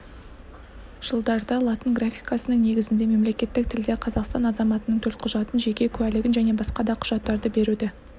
жылдарда латын графикасының негізінде мемлекеттік тілде қазақстан азаматының төлқұжатын жеке куәлігін және басқа да құжаттарды беруді